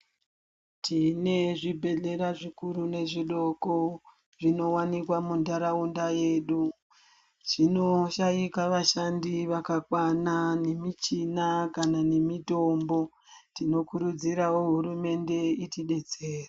Tine zvibhedhlera zvikuru nezvidoko zvinowanikwa muntaraunda medu zvinoshaika vashandi vakakwana nemichina kana nemitombo tinokurudzirawo hurumende itidetsere.